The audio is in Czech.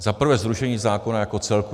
Za prvé zrušení zákona jako celku.